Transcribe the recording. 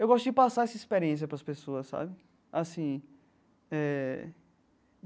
Eu gosto de passar essa experiência para as pessoas, sabe? Assim eh.